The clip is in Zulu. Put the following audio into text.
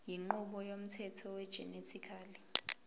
inqubo yomthetho wegenetically